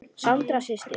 Sandra systir.